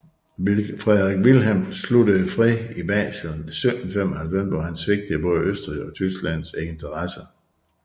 Frederik Vilhelm sluttede fred i Basel 1795 hvor han svigtede både Østrigs og Tysklands interesser